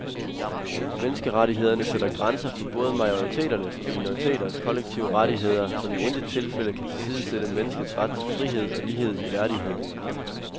Menneskerettighederne sætter grænser for både majoriteters og minoriteters kollektive rettigheder, som i intet tilfælde kan tilsidesætte menneskets ret til frihed og lighed i værdighed.